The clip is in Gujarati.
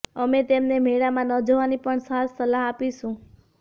અમે તેમને મેળામાં ન જવાની પણ ખાસ સલાહ આપીશુ